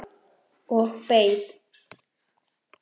Og beið.